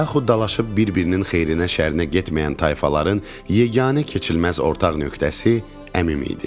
Yaxud dalaşıb bir-birinin xeyrinə, şərinə getməyən tayfaların yeganə keçilməz ortağ nöqtəsi Əmim idi.